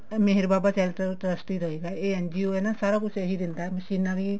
ਮੇਹਰ Baba charitable trust ਹੀ ਦਏਗਾ ਇਹ NGO ਹੈ ਨਾ ਸਾਰਾ ਕੁੱਝ ਇਹੀ ਦਿੰਦਾ ਮਸ਼ੀਨਾ ਵੀ